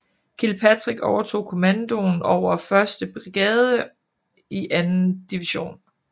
Kilpatrick overtog kommandoen over 1st brigade i 2nd division